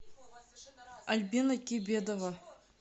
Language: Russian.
альбина кибедова